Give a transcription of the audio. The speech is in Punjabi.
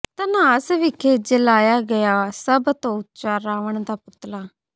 ਧਨਾਸ ਵਿਖੇ ਜਲਾਇਆ ਗਿਆ ਸਭ ਤੋਂ ਉੱਚਾ ਰਾਵਣ ਦਾ ਪੁਤਲਾ